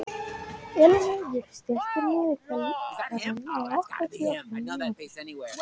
Elínheiður, stilltu niðurteljara á áttatíu og fimm mínútur.